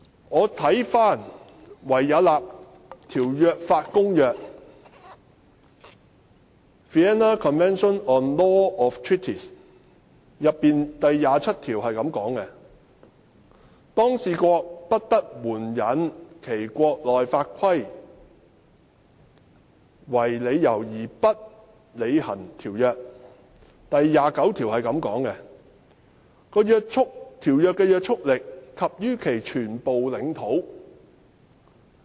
我翻查《維也納條約法公約》，當中第二十七條訂明："一當事國不得援引其國內法規定為理由而不履行條約"，而第二十九條則訂明："條約對每一當事國之拘束力及於其全部領土"。